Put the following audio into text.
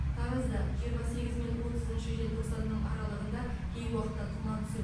таразда жиырма сегізі мен отызыншы желтоқсанның аралығынды кей уақытта тұман түседі